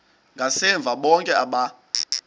ngasemva bonke aba